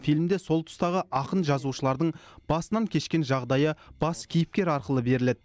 фильмде сол тұстағы ақын жазушылардың басынан кешкен жағдайы бас кейіпкер арқылы беріледі